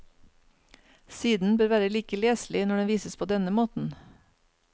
Siden bør være like leselig når den vises på denne måten.